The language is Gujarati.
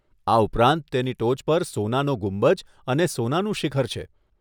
આ ઉપરાંત તેની ટોચ પર સોનાનો ગુંબજ અને સોનાનું શિખર છે.